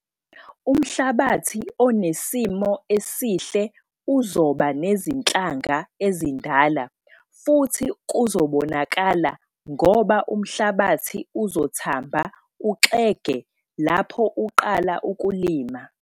Umhlabathi onesimo esihle uzoba nezinhlanga ezindala futhi kuzobonakala ngoba umhlabathi uzothamba uxege lapho uqala ukulima.